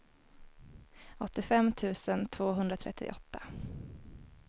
åttiofem tusen tvåhundratrettioåtta